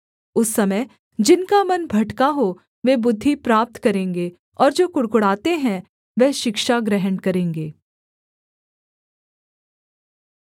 उस समय जिनका मन भटका हो वे बुद्धि प्राप्त करेंगे और जो कुढ़कुढ़ाते हैं वह शिक्षा ग्रहण करेंगे